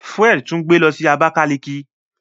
Fred tún gbé ló sì Abakaliki.